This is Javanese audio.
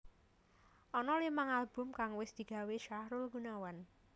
Ana limang album kang wis digawé Sahrul Gunawan